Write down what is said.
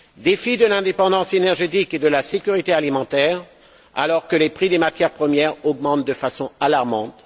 défi de l'indépendance énergétique et de la sécurité alimentaire, alors que les prix des matières premières augmentent de façon alarmante.